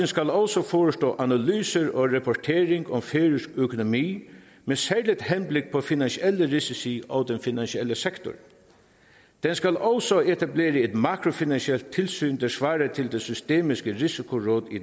skal også forestå analyse og rapportering om færøsk økonomi med særligt henblik på finansielle risici og den finansielle sektor den skal også etablere et makrofinansielt tilsyn der svarer til det systemiske risikoråd i